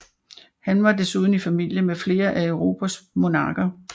Han var desuden i familie med flere af Europas monarker